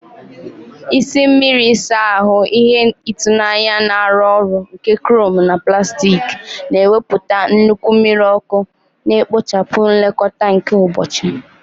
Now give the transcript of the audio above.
Isi mmiri ịsa ahụ, ihe ịtụnanya na-arụ ọrụ nke chrome na plastik, na-ewepụta nnukwu mmiri ọkụ, na-ekpochapụ nlekọta nke ụbọchị.